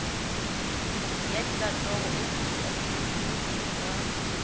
ya dikantoro office administration ka